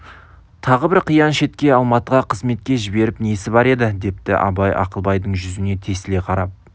тағы бір қиян шетке алматыға қызметке жібертіп несі бар еді депті абай ақылбайдың жүзіне тесіле қарап